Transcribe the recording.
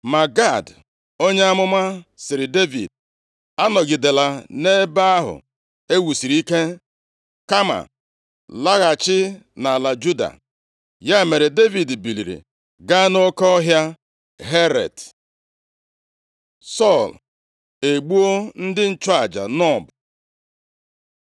Ma Gad onye amụma sịrị Devid, “Anọgidela nʼebe ahụ e wusiri ike, kama laghachi nʼala Juda.” Ya mere, Devid biliri gaa nʼoke ọhịa Heret. Sọl egbuo ndị nchụaja Nob